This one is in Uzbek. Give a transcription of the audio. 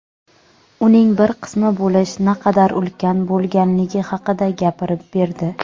uning bir qismi bo‘lish naqadar ulkan bo‘lganligi haqida gapirib berdi.